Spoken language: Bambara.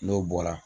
N'o bɔra